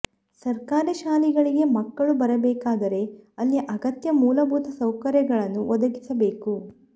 ಸರ್ಕಾರಿ ಶಾಲೆಗಳಿಗೆ ಮಕ್ಕಳು ಬರಬೇಕಾದರೇ ಅಲ್ಲಿ ಅಗತ್ಯ ಮೂಲಭೂತ ಸೌಕರ್ಯಗಳನ್ನು ಒದಗಿಸಬೇಕು